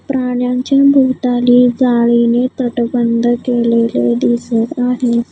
प्राण्यांच्या भोवताली जाळीने तटबंद केलेले दिसत आहेत.